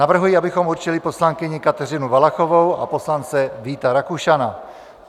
Navrhuji, abychom určili poslankyni Kateřinu Valachovou a poslance Víta Rakušana.